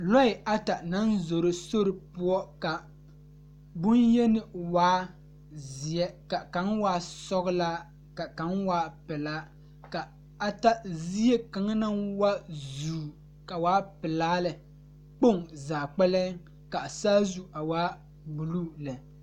Nasaamine la zeŋ die poɔ a pouri ba ŋmene a vaare wagyere kyɛ uri vūūnee a die poɔ kaa zie a kyaane kaa saazu a waa buluu la.